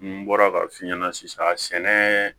N bɔra k'a f'i ɲɛna sisan sɛnɛ